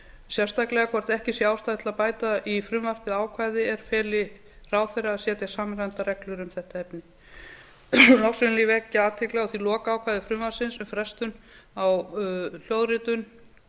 sérstaklega hvort ekki sé ástæða til að bæta í frumvarpið ákvæði er feli ráðherra að setja samræmdar reglur um þetta efni loks vil ég vekja athygli á því lokaákvæði frumvarpsins um frestun á hljóðritun